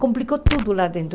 Complicou tudo lá dentro.